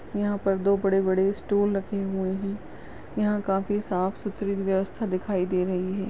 यहा पर दो बडे बडे स्टूल रखे हुए है यहा काफी साफ सुथरा व्यवस्था दिखाई दे रही है।